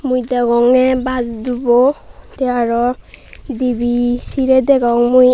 mui degongey baas dubo tey aro dibey sirey degong mui.